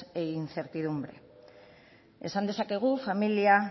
e incertidumbre esan dezakegu familia